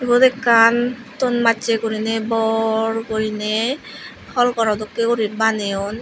iyot ekkan ton massey guriney bor guriney hall garaw dokkey uri baneyon.